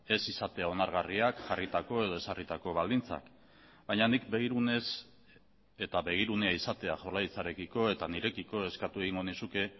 ez izatea onargarriak jarritako edo ezarritako baldintzak baina nik begirunez eta begirunea izatea jaurlaritzarekiko eta nirekiko eskatu egingo nizuke